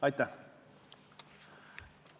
Aitäh!